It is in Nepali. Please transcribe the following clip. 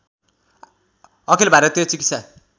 अखिल भारती चिकित्सा